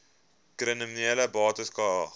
kriminele bates cara